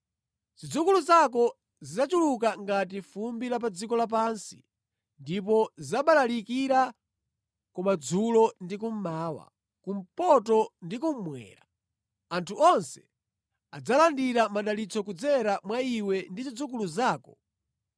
Zidzukulu zako zidzachuluka ngati fumbi la pa dziko lapansi ndipo zidzabalalikira kumadzulo ndi kummawa, kumpoto ndi kummwera. Anthu onse adzalandira madalitso kudzera mwa iwe ndi zidzukulu zako.